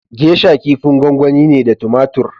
Geisha kifin gwangwani ne da tomatur.